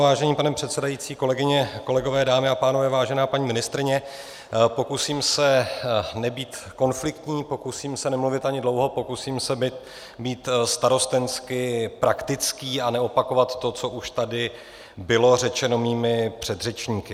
Vážený pane předsedající, kolegyně, kolegové, dámy a pánové, vážená paní ministryně, pokusím se nebýt konfliktní, pokusím se nemluvit ani dlouho, pokusím se být starostensky praktický a neopakovat to, co už tady bylo řečeno mými předřečníky.